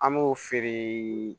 An b'o feere